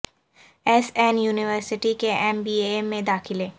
S N university کے M B A میں داخلے